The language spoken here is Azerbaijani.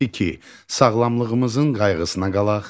İki: Sağlamlığımızın qayğısına qalaq.